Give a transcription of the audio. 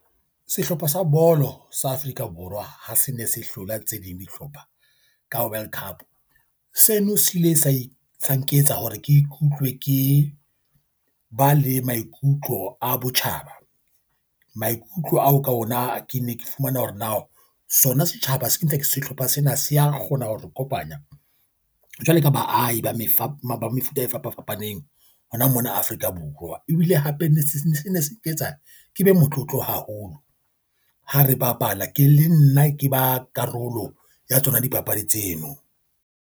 Sehlopha sa bolo sa Afrika Borwa ha se ne se hlola tse ding dihlopha ka World Cup. Seno se ile sa isa nketsa hore ke ikutlwe ke ba le maikutlo a botjhaba. Maikutlo ao ka ona ke ne ke fumana hore na sona setjhaba se ke ntse ke sehlopha sena se a kgona hore o kopanya jwalo ka baahi ba mefapo mefuta e fapafapaneng hona mona Afrika Borwa. Ebile hape ne se ne se ne se ke tsa ke be motlotlo haholo ha re bapala ke le nna ke ba karolo ya tsona dipapadi tseno.